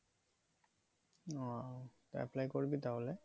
ও apply করবি তা হলে?